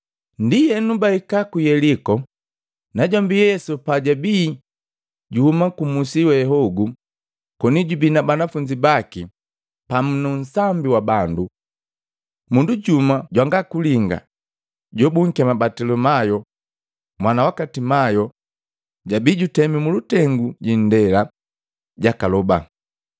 Ndienu, bahika ku Yeliko, najombi Yesu pajabii juhuma kumusi we hogu koni jubii na banafunzi baki pamu nu nsambi wa bandu. Mundu jumu jwanga kulinga, jobunkema Batilimayo, mwana waka Timayo, jojabii jutemi mulutengu jindela, jakaloba.